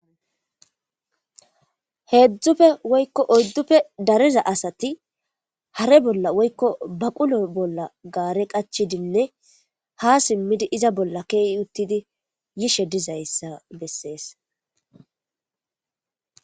Heezzuppe woykko oydduppr dariza asati hare bolla woykko baqulo bolla gaare qachidinne ha simmidi iza bolla kiyi uttidi yishe diza issa bessees.